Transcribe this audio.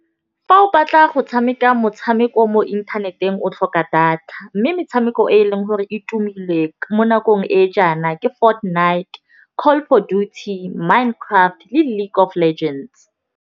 Fa o batla go tshameka motshameko mo inthaneteng o tlhoka data, mme metshameko e e leng gore e tumile mo nakong e jaana ke Fortnite, Call of Duty, Minecraft le League of Legends.